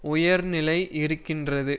உயிர் நிலை இருக்கிறது